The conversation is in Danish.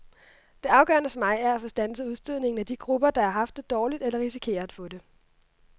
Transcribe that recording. Det afgørende for mig er at få standset udstødningen af de grupper, der har haft det dårligt eller risikerer at få det.